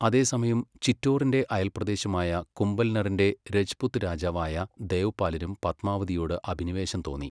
അതേസമയം, ചിറ്റോറിൻ്റെ അയൽപ്രദേശമായ കുംഭൽനറിൻ്റെ രജ്പുത് രാജാവായ ദേവ്പാലിനും പത്മാവതിയോട് അഭിനിവേശം തോന്നി.